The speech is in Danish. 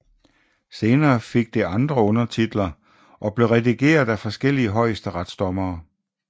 Senere fik det andre undertitler og blev redigeret af forskellige højesteretsdommere